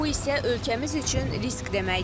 Bu isə ölkəmiz üçün risk deməkdir.